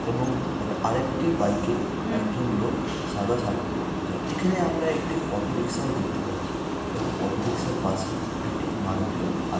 এবং আরেকটি বাইকে একজন লোক সাদা শার্ট পড়ে যায় এখানে আমরা একটি অটো রিক্সাও দেখতে পাচ্ছে এবং অটো রিক্সার পাশে একটি মারুতিও আছ--